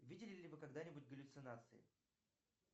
видели ли вы когда нибудь галлюцинации